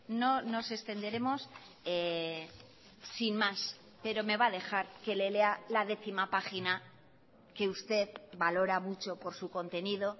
no nos extenderemos sin más pero me va a dejar que le lea la décima página que usted valora mucho por su contenido